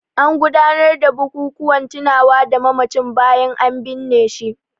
An gudanar da bukukuwan tunawa da mamacin bayan an binne shi.